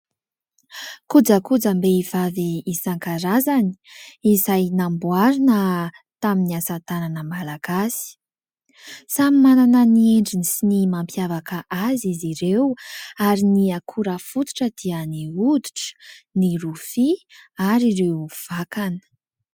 Kojakojam-behivavy isan-karazany izay namboarina tamin'ny asatanana malagasy. Samy manana ny endriny sy ny mampiavaka azy izy ireo ary ny akora fototra dia ny hoditra, ny rofia ary ireo vakana.